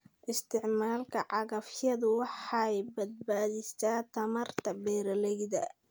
Isticmaalka cagafyada waxay badbaadisaa tamarta beeralayda.